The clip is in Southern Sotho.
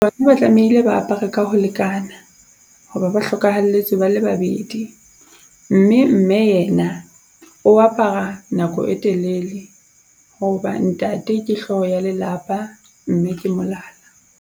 Bana ba tlamehile ba apare ka ho lekana, ho ba ba hlokahalletswe ba le babedi. Mme mme yena o apara nako e telele, ho ba ntate ke hloho ya lelapa mme ke molala.